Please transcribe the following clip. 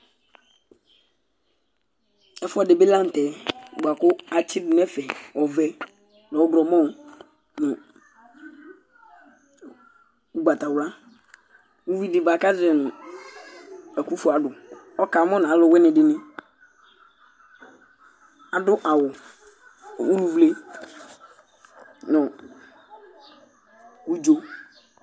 Ɛfʋɛdi bi la ntɛ bʋakʋ atsi du nʋ ɛfɛ ɔvɛ nʋ ɔwlɔmɔ nʋ ugbatawla Ʋvidí bʋakʋ azɔɛ nu "Ɛkufuadu" ɔka mu nu aluwini dìní Adu awu ulʋvle nu ʋdzo